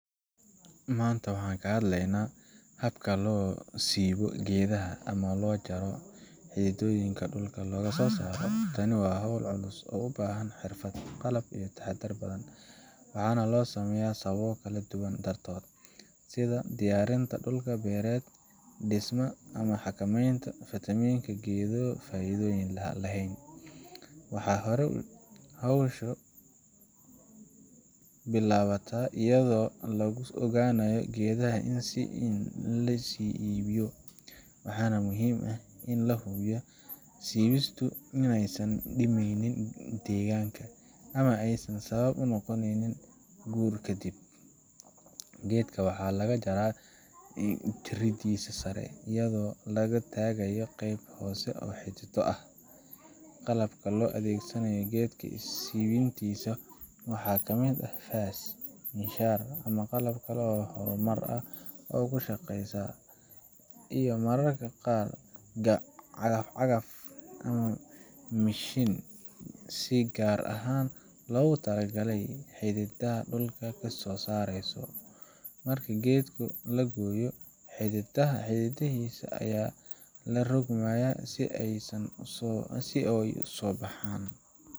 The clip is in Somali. Maanta waxaan ka hadleynaa habka loo siibo geedaha ama loo jaro si xididdooyinka dhulka looga saaro. Tani waa hawl culus oo u baahan xirfad, qalab, iyo taxaddar badan, waxaana loo sameeyaa sababo kala duwan dartood sida diyaarinta dhul beereed, dhismaha, ama xakameynta faafitaanka geedo faa’iidoyin lahayn. Marka hore, hawshu waxay bilaabataa iyadoo lagu ogaanayo geedaha la sii iibiyo. Waxaa muhiim ah in la hubiyo in siibistu inaysan dhimeynin deegaanka ama aysan sabab u noqoneynin guur. Kadib, geedka waxaa laga jaraa jiridiisa sare, iyadoo laga tagayo qaybta hoose ee xididdo ah. Qalabka loo adeegsado geedsiibintisa waxaa ka mid ah faas, miinshaar, qalabka korontada ku shaqeeya, iyo mararka qaar cagaf cagaf ama mishiin si gaar ahan loogu talagalay in uu xididdada dhulka kasoo saaro. Marka geedka la gooyo, xididdadiisa ayaa la rogrogayaa si ay u soo baxaan.